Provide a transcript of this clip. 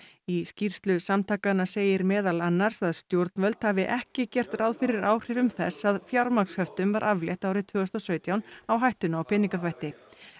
í skýrslu samtakanna segir meðal annars að stjórnvöld hafi ekki gert ráð fyrir áhrifum þess að fjármagnshöftum var aflétt árið tvö þúsund og sautján á hættuna á peningaþvætti